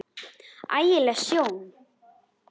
Ægi leg sjón alveg.